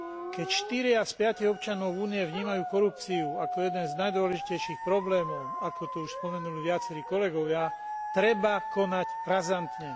Keď štyria z piatich občanov Únie vnímajú korupciu ako jeden z najdôležitejších problémov, ako to už spomenuli viacerí kolegovia, treba konať razantne.